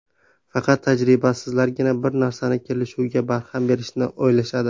Faqat tajribasizlargina bir narsani – kelishuvga barham berishni o‘ylashadi.